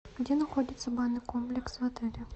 где находится банный комплекс в отеле